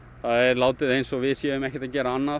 látið eins og við séum ekkert að gera annað